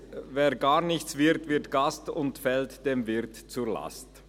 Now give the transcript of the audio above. wer gar nichts wird, wird Gast und fällt dem Wirt zur Last.